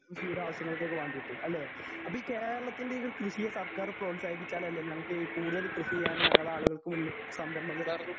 കൃഷിയുടെ ആവശ്യങ്ങൾക്കക്ക് വാണ്ടീട്ട് അല്ലേ? അപ്പൊ ഈ കേരളത്തിൻ്റെത് കൃഷിയെ സർക്കാര് പ്രോത്സാഹിപ്പിച്ചാലല്ലേ ഞങ്ങൾക്ക് ഈ കൂടുതല് കൃഷി ചെയ്യാന് ഞങ്ങടെ ആള്കൾക്കു മുന്നിൽ സംരംഭങ്ങള്